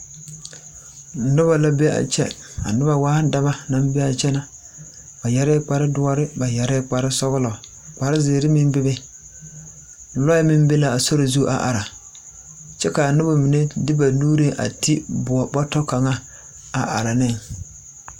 Noba la be a kyɛ, a noba waa dɔba naŋ be a kyɛ na, ba yɛrɛ kpare doɔre, ba yɛrɛ kpare sɔglɔ, kpare ziiri meŋ bebe, lɔɛ meŋ be la a sori zu a are, kyɛ ka a noba mine de ba nuuri a ti boɔre bɔtɔ kaŋa a are ne.